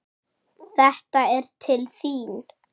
Þetta er til þín